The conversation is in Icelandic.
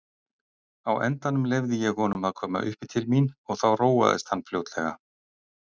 Á endanum leyfði ég honum að koma uppí til mín og þá róaðist hann fljótlega.